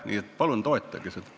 Nii et palun toetage seda.